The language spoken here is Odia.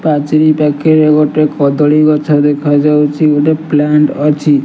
ପାଚେରି ପାଖେରେ ଗୋଟେ କଦଳୀ ଗଛ ଦେଖାଯାଉଚି। ଗୋଟେ ପ୍ଲାଣ୍ଟ ଅଛି।